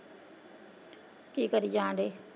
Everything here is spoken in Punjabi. ਕੀ ਕਰੀ ਜਾਣ ਡਏ।